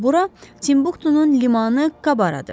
Bura Timbuktunun limanı Kabaradır.